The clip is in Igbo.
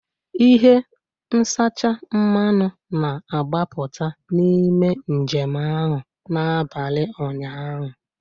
Ihe nzacha mmanụ na-agbapụta n'ime njem ahụ n'abalị ụnyaahụ